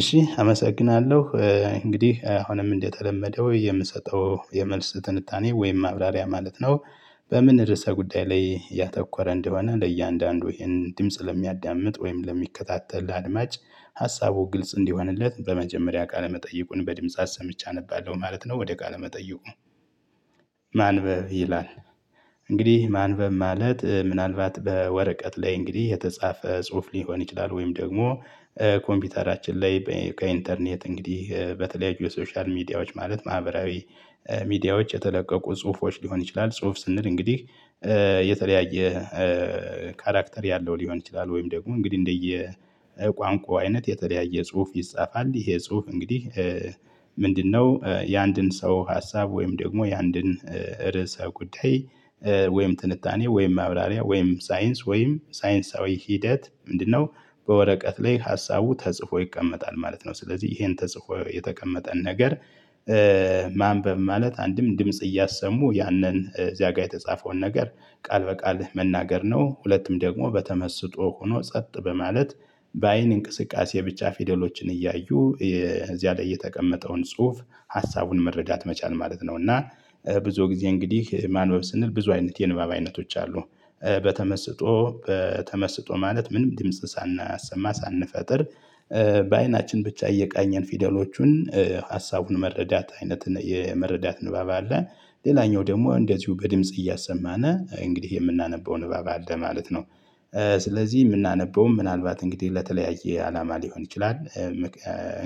እሺ አመሰግናለሁ እንግዲህ አሁንም እንደተለመደው የምሰጠው የመልስ ትንታኔ ወይም ማብራሪያ ማለት ነው። በምን ርዕሰ ጉዳይ ላይ ያተኮረ እንደሆነ ለእያንዳንዱ ይሄን ድምጽ ለሚያዳምጥ ወይም ለሚከታተል አድማጭ ሀሳቡ ግልጽ እንዲሆንለት በመጀመሪያ ቃለ መጠይቁን በድምጻት ሰምቻ አነባለሁ ማለት ነው። ወደ ቃለ መጠይቁ ነው ይላል። እንግዲህ ማንበብ ማለት ምናልባት በወረቀት ላይ እንግዲህ የተጻፈ ጽሁፍ ሊሆን ይችላል። ወይም ደግሞ ኮምፒውተራችን ላይ ከኢንተርኔት እንግዲህ በተለያዩ የሶሻል ሚዲያዎች ማለት ማህበራዊ ሚዲያዎች የተለቀቁ ጽሁፎች ሊሆን ይችላል። ጽሁፍ ስንል እንግዲህ የተለያየ ካራክተር ያለው ሊሆን ይችላል። ወይም ደግሞ እንግዲህ እንደየ ቋንቋ አይነት የተለያየ ጽሁፍ ይጻፋል። ይሄ ጽሁፍ እንግዲህ ምንድነው የአንድን ሰው ሀሳብ ወይም ደግሞ ያንድን ርዕሰ ጉዳይ ወይም ጥንታኔ ወይም አብራሪያ ወይም ሳይንስ ወይም ሳይንሳዊ ሂደት ምንድነው? በወረቀት ላይ ሀሳቡ ተጽፎ ይቀመጣል ማለት ነው። ስለዚህ ይሄን ተጽፎ የተቀመጠን ነገር ማንበብ ማለት አንድም ድምጽ እያሰሙ ያንን እዚያ ጋር የተጻፈውን ነገር ቃል በቃል መናገር ነው። ሁለቱም ደግሞ በተመስጦ ሆኖ ጸጥ በማለት በአይን እንቅስቃሴ ብቻ ፊደሎችን እያዩ እዚያ ላይ የተቀመጠውን ጽሁፍ ሀሳቡን መረዳት መቻል ማለት ነው። እና ብዙ ጊዜ እንግዲህ ማንበብ ስንል ብዙ አይነት የንባብ አይነቶች አሉ። በተመስጦ ማለት ምንም ድምጽ ሳናሰማ ሳንፈጥር በአይናችን ብቻ እየቃኘን ፊደሎቹን ሀሳቡን መረዳት አይነት የመረዳት ንባብ አለ። ሌላኛው ደግሞ እንደዚሁ በድምጽ እያሰማነ እንግዲህ የምናነበው ንባብ አለ ማለት ነው። ስለዚህ የምናነበውም ምናልባት እንግዲህ ለተለያየ አላማ ሊሆን ይችላል።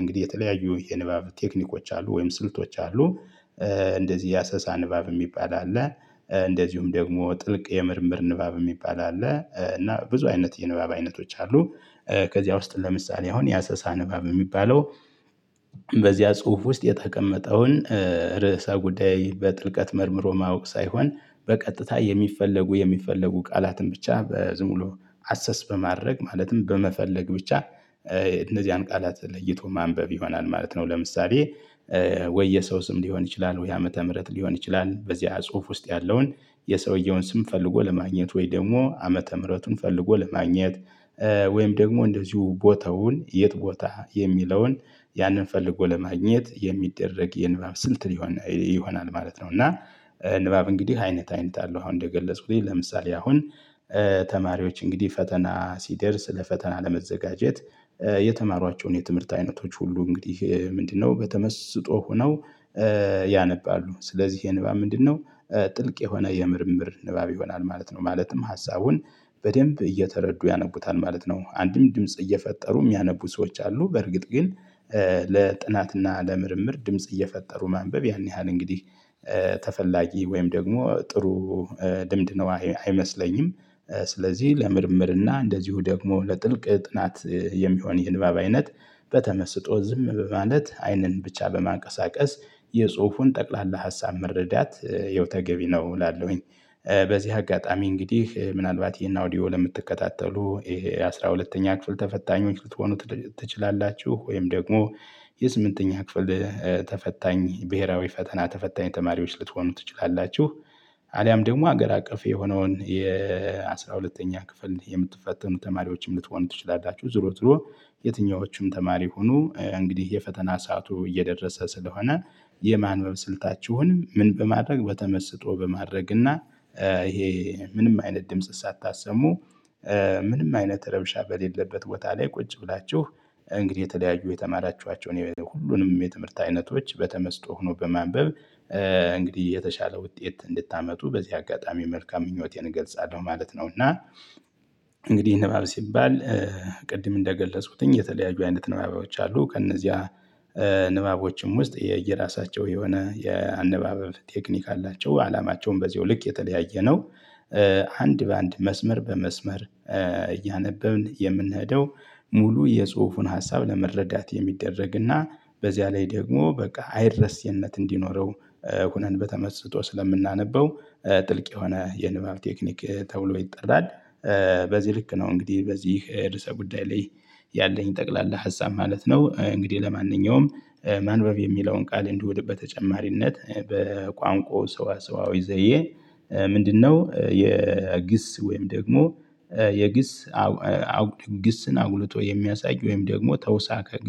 እንግዲህ የተለያዩ የንባብ ቴክኒኮች አሉ ወይም ስልቶች አሉ። እንደዚህ የአሰሳ ንባብ የሚባል አለ። እንደዚሁም ደግሞ ጥልቅ የምርምር ንባብ የሚባል አለ እና ብዙ አይነት የንባብ አይነቶች አሉ። ከዚያ ውስጥ ለምሳሌ አሁን የአሰሳ ንባብ የሚባለው በዚያ ጽሁፍ ውስጥ የተቀመጠውን ርዕሰ ጉዳይ በጥልቀት መርምሮ ማወቅ ሳይሆን በቀጥታ የሚፈለጉ የሚፈለጉ ቃላትን ብቻ በዝም ብሎ አሰስ በማድረግ ማለትም በመፈለግ ብቻ እነዚህን ቃላት ለይቶ ማንበብ ይሆናል ማለት ነው። ለምሳሌ ወይ የሰው ስም ሊሆን ይችላል ወይ ዓመተ ምህረት ሊሆን ይችላል በዚህ ጽሁፍ ውስጥ ያለውን የሰውየውን ስም ፈልጎ ለማግኘት ወይ ደግሞ ዓመተ ምህረቱን ፈልጎ ለማግኘት ወይም ደግሞ እንደዚሁ ቦታውን የት ቦታ የሚለውን ያንን ፈልጎ ለማግኘት የሚደረግ የንባብ ስልት ይሆናል ማለት ነው። እና ንባብ እንግዲህ አይነት አይነት አለው። አሁን እንደገለጽኩኝ ለምሳሌ አሁን ተማሪዎች እንግዲህ ፈተና ሲደርስ ለፈተና ለመዘጋጀት የተማሯቸውን የትምህርት አይነቶች ሁሉ እንግዲህ ምንድነው በተመስጦ ሆነው ያነባሉ ስለዚህ የንባብ ምንድነው ጥልቅ የሆነ የምርምር ንባብ ይሆናል ማለት ነው ማለትም ሀሳቡን በደንብ እየተረዱ ያነቡታል ማለት ነው። አንድም ድምጽ እየፈጠሩ የሚያነቡ ሰዎች አሉ በርግጥ ግን ለጥናትና ለምርምር ድምጽ እየፈጠሩ ማንበብ ያን ያህል እንግዲህ ተፈላጊ ወይም ደግሞ ጥሩ ድምድ ነው አይመስለኝም። ስለዚህ ለምርምርና እንደዚሁ ደግሞ ለጥልቅ ጥናት የሚሆን ይህንባብ አይነት በተመስጦ ዝም በማለት አይንን ብቻ በማንቀሳቀስ የጽሁፉን ጠቅላላ ሀሳብ መረዳት የውተገቢ ነው እላለሁኝ። በዚህ አጋጣሚ እንግዲህ ምናልባት ይሄን አውዲዮ ለምትከታተሉ ይሄ አስራ ሁለተኛ ክፍል ተፈታኞች ልትሆኑ ትችላላችሁ ወይም ደግሞ የስምንተኛ ክፍል ተፈታኝ ብሄራዊ ፈተና ተፈታኝ ተማሪዎች ልትሆኑ ትችላላችሁ አሊያም ደግሞ ሀገር አቀፍ የሆነውን የአሥራ ሁለተኛ ክፍል የምትፈተኑ ተማሪዎችም ልትሆኑ ትችላላችሁ። ዝሮ ትሮ የትኞቹም ተማሪ ሁኑ እንግዲህ የፈተና ሰዓቱ እየደረሰ ስለሆነ የማንበብ ስልታችሁንም ምን በማድረግ በተመስጦ በማድረግ እና ይሄ ምንም አይነት ድምጽ ሳታሰሙ ምንም አይነት ረብሻ በሌለበት ቦታ ላይ ቁጭ ብላችሁ እንግዲህ የተለያዩ የተማራችኋቸውን ሁሉንም የትምህርት አይነቶች በተመስጦ ሆኖ በማንበብ እንግዲህ የተሻለ ውጤት እንድታመጡ በዚህ አጋጣሚ መልካም ምኞቴን እገልጻለሁ ማለት ነው። እና እንግዲህ ንባብ ሲባል ቅድም እንደገለጽኩትኝ የተለያዩ አይነት ንባቦች አሉ። ከእነዚያ ንባቦችም ውስጥ የየራሳቸው የሆነ የአንባበብ ቴክኒክ አላቸው አላማቸውን በዚሁ ልክ የተለያየ ነው። አንድ በአንድ መስመር በመስመር እያነበብን የምንሄደው ሙሉ የጽሁፉን ሀሳብ ለመረዳት የሚደረግና በዚያ ላይ ደግሞ በቃ አይለስየነት እንዲኖረው ሆነን በተመስጦ ስለምናነበው ጥልቅ የሆነ የንባብ ቴክኒክ ተብሎ ይጠራል። በዚህ ልክ ነው እንግዲህ በዚህ ርዕሰ ጉዳይ ላይ ያለኝ ጠቅላላ ሀሳብ ማለት ነው። እንግዲህ ለማንኛውም ማንበብ የሚለውን ቃል እንዲወድ በተጨማሪነት በቋንቋው ሰው አሰዋዊ ዘዬ ምንድነው የግስ ወይም ደግሞ የግስ ግስን አጉልጦ የሚያሳይ ወይም ደግሞ ተውሳከ